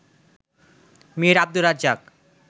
Mir Abdur Razzak